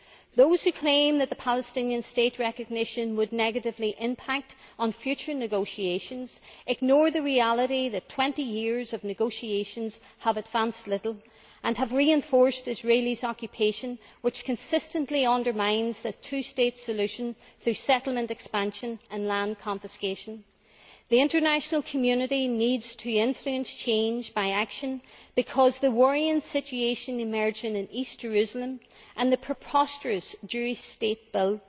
Those who claim that recognition of the Palestinian State would negatively impact on future negotiations, ignore the reality that 20 years of negotiations have advanced little and have reinforced Israel's occupation, which consistently undermines a two state solution through settlement expansion and land confiscation. The international community needs to influence change by action, because the worrying situation emerging in East Jerusalem and the preposterous Jewish State Bill